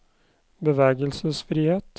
bevegelsesfrihet